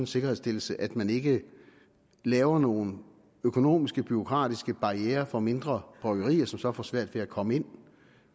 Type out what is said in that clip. sikkerhedsstillelse at man ikke laver nogle økonomiske og bureaukratiske barrierer for mindre bryggerier som så får svært ved at komme ind